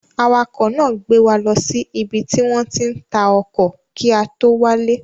Awakọ̀ náà gbé wa lọ sí ibi tí wọ́n ti ń ta ọkọ̀ kí a tó wálé.